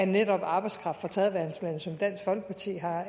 netop af arbejdskraft fra tredjeverdenslande som dansk folkeparti